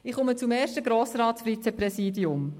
Ich komme zum ersten Grossratsvizepräsidium.